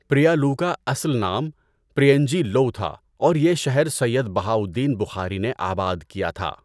پریالو کا اصل نام پرین جی لوء تھا اور یہ شھر سید بہاؤ الدین بخاري نے آباد کیا تھا۔